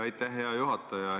Aitäh, hea juhataja!